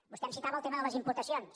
vostè em citava el tema de les imputacions